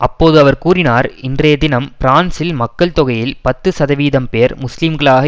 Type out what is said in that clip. அப்போது அவர் கூறினார் இன்றைய தினம் பிரான்சில் மக்கள் தொகையில் பத்து சதவீதம் பேர் முஸ்லீம்களாக